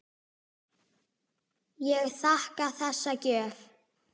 Ég þakka þessa gjöf.